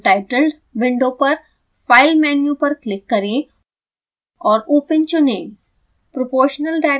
xcos untitled window पर file menu पर click करें और open चुनें